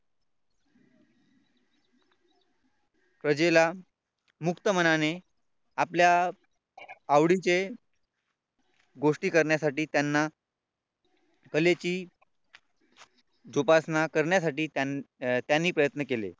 प्रजेला मुक्त मनाने आपल्या आवडीचे गोष्टी करण्यासाठी त्यांना कलेची जोपासना करण्यासाठी त्यांनी प्रयत्न केले.